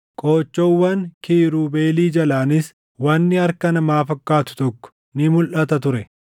Qoochoowwan kiirubeelii jalaanis wanni harka namaa fakkaatu tokko ni mulʼata ture.